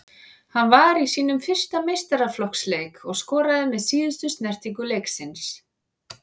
Hann var í sínum fyrsta meistaraflokksleik og skoraði með síðustu snertingu leiksins.